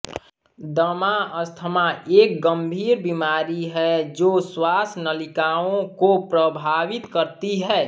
दमा अस्थमा एक गंभीर बीमारी है जो श्वास नलिकाओं को प्रभावित करती है